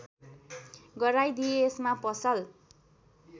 गराइदिए यसमा पसल